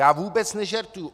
Já vůbec nežertuju!